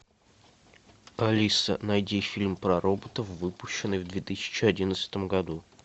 алиса найди фильм про роботов выпущенный в две тысячи одиннадцатом году